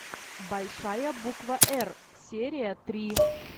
большая буква р серия три